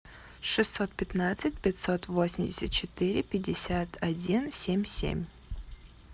шестьсот пятнадцать пятьсот восемьдесят четыре пятьдесят один семь семь